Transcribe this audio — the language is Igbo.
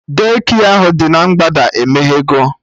De-kịa ahụ dị na mgbada emeghego